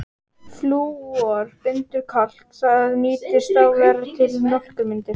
Flúor bindur kalk, það nýtist þá verr til mjólkurmyndunar.